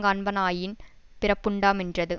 காண்பனாயின் பிறப்புண்டாமென்றது